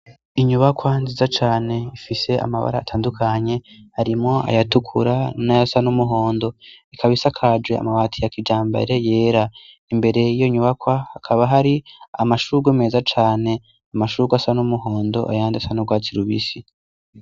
Inyubakwa nziza cane ifise amabara atandukanye, harimwo ayatukura n'ayasa n'umuhondo, ikaba isakaje amabati ya kijambere yera, imbere yiyo nyubakwa hakaba hari amashurwe meza cane, amashurwe asa n'umuhondo ayandi asa n'urwatsi rubisi.